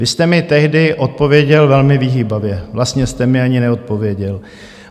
Vy jste mi tehdy odpověděl velmi vyhýbavě, vlastně jste mi ani neodpověděl.